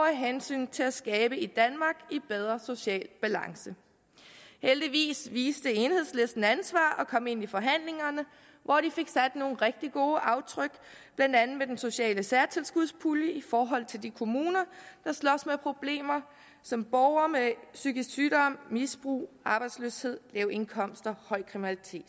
hensynet til at skabe et danmark i bedre social balance heldigvis viste enhedslisten ansvar og kom ind i forhandlingerne hvor de fik sat nogle rigtig gode aftryk blandt andet med den sociale særtilskudspulje i forhold til de kommuner der slås med problemer som borgere med psykisk sygdom misbrug arbejdsløshed lave indkomster høj kriminalitet